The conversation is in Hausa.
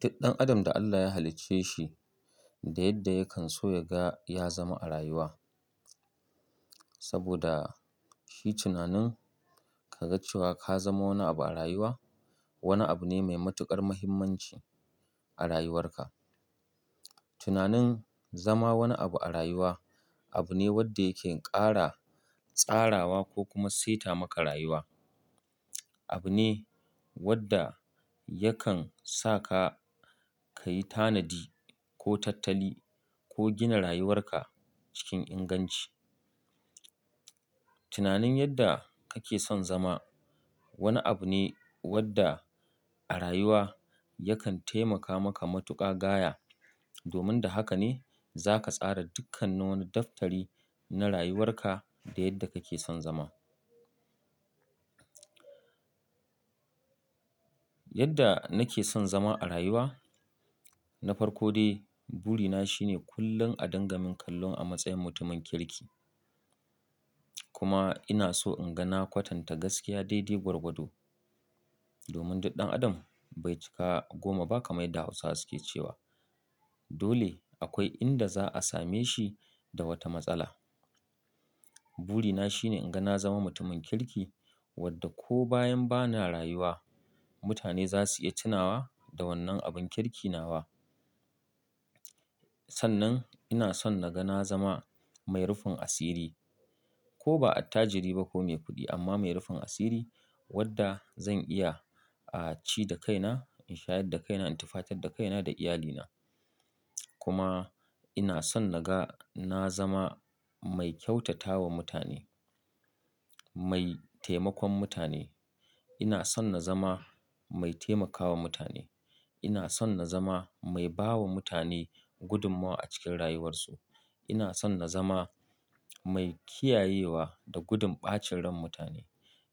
Duk ɗan adam da Allah ya halicce shi, da yadda yakan so yaga ya zama a rayuwa. Saboda shi tunanin ka ga cewa ka zama wani abu a rayuwa, wani abu ne mai matuƙar muhimmanci a rayuwarka. Tunanin zama wani abu a rayuwa abu ne wanda yakan ƙara tsarawa ko kuma saita maka rayuwa. Abu ne wanda yakan sa ka, ka yi tanadi ko tattali ko gina rayuwarka cikin inganci. Tunanin yadda kake son zama wani abu ne wadda a rayuwa yakan taimaka maka matuƙa gaya. Domin da haka ne za ka tsara dukkan nin wani daftari na rayuwarka da yadda kake son zama. Yadda nake son zama a rayuwa, na farko dai burina shine kullum a dangamin kallon a matsayin mutumin kirki. Kuma ina so in ga na kwatanta gaskiya daidai gwarwado. Domin duk ɗan adam bai cika goma ba kamar yadda Hausa suke cewa. Dole akwai inda za a same shi da wata matsala. Burina shine in ga na zama mutumin kirki wadda ko bayan ba na rayuwa, mutane za su iya tunawa da wannan abin kirki nawa. Sannan ina son na ga na zama mai rufin asiri, ko ba attajiri ba ko mai kuɗi amma mai rufin asiri wadda zan iya a ci da kaina, in shayar da kaina, in tufatar da kaina da iyalina. Kuma ina son na ga na zama mai kyautatawa mutane, mai taimakon mutane. Ina son na zama mai taimakawa mutane. Ina son na zama mai bawa mutane gudummawa a cikin rayuwarsu. Ina son na zama mai kiyayewa da gudun ɓacin ran mutane.